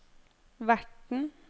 verten